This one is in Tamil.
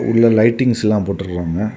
உள்ள லைட்டிங்ஸ் எல்லா போட்டுருக்காங்க.